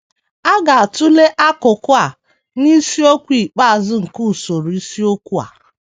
A ga - atụle akụkụ a n’isiokwu ikpeazụ nke usoro isiokwu a.